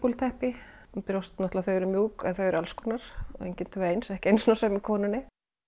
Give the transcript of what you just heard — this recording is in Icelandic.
teppi brjóst náttúrulega þau eru mjúk en þau eru alls konar engin tvö eins ekki einu sinni á sömu konunni